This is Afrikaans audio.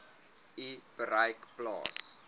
u bereik plaas